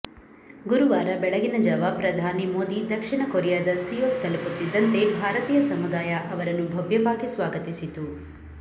ಗುರುವಾರ ಬೆಳಗಿನ ಜಾವ ಪ್ರಧಾನಿ ಮೋದಿ ದಕ್ಷಿಣ ಕೊರಿಯಾದ ಸಿಯೋಲ್ ತಲುಪುತ್ತಿದ್ದಂತೆ ಭಾರತೀಯ ಸಮುದಾಯ ಅವರನ್ನು ಭವ್ಯವಾಗಿ ಸ್ವಾಗತಿಸಿತು